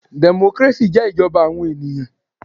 Democracy jẹ́ ìjọba àwọn ènìyàn.